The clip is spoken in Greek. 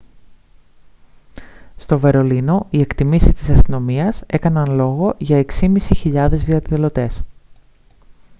στο βερολίνο οι εκτιμήσεις της αστυνομίας έκαναν λόγο για 6.500 διαδηλωτές